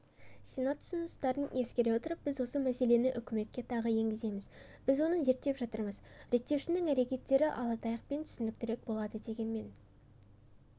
сенат ұсыныстарын ескере отырып біз осы мәселені үкіметке тағы енгіземіз біз оны зерттеп жатырмыз реттеушінің әрекеттері ала таяқпен түсініктірек болады дегенмен